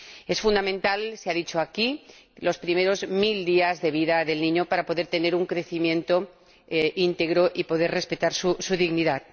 Son fundamentales —se ha dicho aquí— los primeros mil días de vida del niño para que pueda tener un crecimiento íntegro y pueda respetarse su dignidad.